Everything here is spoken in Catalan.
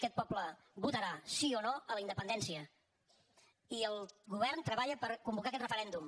aquest poble votarà sí o no a la independència i el govern treballa per convocar aquest referèndum